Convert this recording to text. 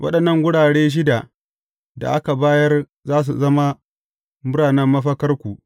Waɗannan garuruwa shida da aka bayar za su zama biranen mafakarku.